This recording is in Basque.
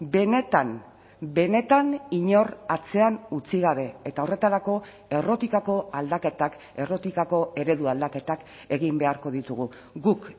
benetan benetan inor atzean utzi gabe eta horretarako errotikako aldaketak errotikako eredu aldaketak egin beharko ditugu guk